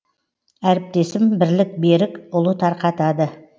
әріптесім бірлік берік ұлы тарқатады